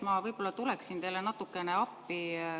Ma võib-olla tulen teile natukene appi.